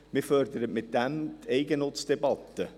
Man fördert damit die Eigennutzdebatte.